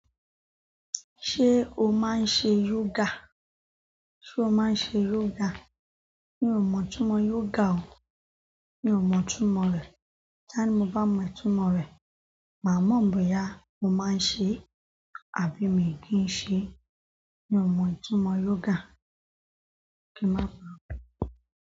Ṣé o máa ń ṣe yoga? Ṣé o máa ń ṣe yoga? Mi o mo itumo yoga o. Mi ò mọ ìtumọ̀ rẹ̀. Ka ní mó bá mọ ìtumọ̀ rẹ̀, màá mọ̀ bóyá mo máa ń ṣe, àbí mi kì í ṣe. Mi ò mọ ìtumọ́ yoga. Kí má paro.